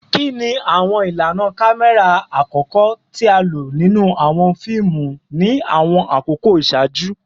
Kini awọn ilana kamẹra akọkọ ti a lo ninu awọn fiimu ni awọn akoko iṣaaju?